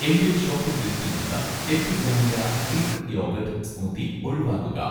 എന്‍റെ ഷോപ്പിംഗ് ലിസ്റ്റിൽ നിന്ന് 'എപ്പിഗാമിയ' ഗ്രീക്ക് യോഗട്ട്‌ സ്മൂത്തി ഒഴിവാക്കുക.